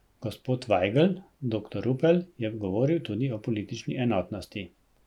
Gospod Vajgl, doktor Rupel je govoril tudi o politični enotnosti.